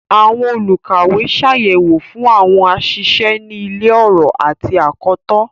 Awọn olukawe ṣayẹwo fun awọn aṣiṣe ni ilo-ọrọ ati akọtọ.